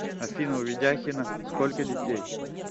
афина у ведяхина сколько детей